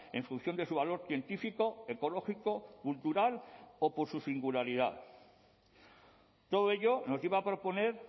en función de su valor científico ecológico cultural o por su singularidad todo ello nos lleva a proponer